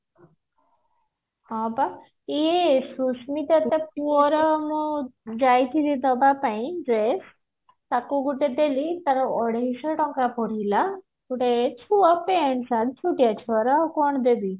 ହଁ ପା ଇଏ ସୁସ୍ମିତା ତା ପୁଅର ମୁଁ ଯାଇଥିଲି ଦବା ପାଇଁ ଯେ ତାକୁ ଗୁଟେ ଦେଲି ତାର ଅଢେଇଶ ଟଙ୍କା ପଡିଲା ଗୋଟେ ଛୁଆ pant shirt ଛୁଟିଆ ଛୁଆ ର ଆଉ କଣ ଦେବି